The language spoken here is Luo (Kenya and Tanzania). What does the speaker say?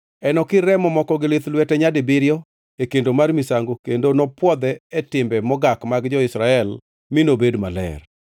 Enokir remo moko gi lith lwete nyadibiriyo e kendo mar misango kendo nopwodhe e timbe mogak mag jo-Israel mi nobed maler.